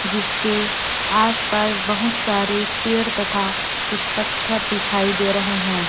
जिसके आस पास बहुत सारे पेड़ तथा कुछ पत्थर दिखाई दे रहे हैं।